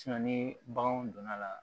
ni baganw donna la